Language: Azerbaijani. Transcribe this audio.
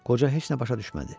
Qoca heç nə başa düşmədi.